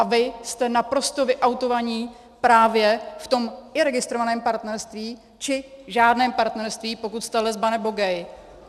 A vy jste naprosto vyautovaní právě i v tom registrovaném partnerství či žádném partnerství, pokud jste lesba nebo gay.